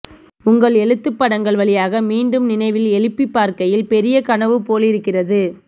உங்கள் எழுத்து படங்கள் வழியாக மீண்டும் நினைவில் எழுப்பிப்பார்க்கையில் பெரிய கனவு போலிருக்கிறது